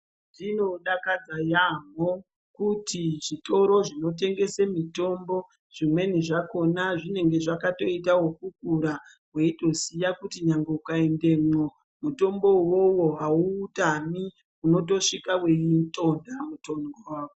Zvinodakadza yaampho kuti zvitoro zvinotengese mitombo zvimweni zvakona zvinenge zvakatoita ekukura weitoziya kuti nyangwe ukaendemwo mutombo uwowo hawuutami unotosvika weiutontha mutombo wacho.